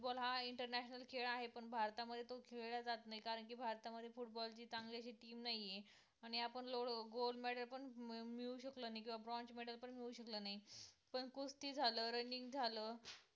football हा international खेळ आहे पण भारतामध्ये तो खेळला जात नाही कारण की भारतामध्ये football ची चांगली अशी team नाही आहे आणि आपण gold medal पण मिळवू शकलो नाही किंवा bronze medal पण मिळवू शकलो नाही पण कुस्ती झालं, running झालं